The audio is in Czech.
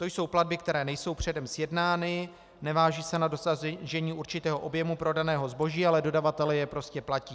To jsou platby, které nejsou předem sjednány, nevážou se na dosažení určitého objemu prodaného zboží, ale dodavatelé je prostě platí.